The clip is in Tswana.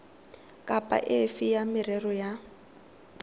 kapa efe ya merero ya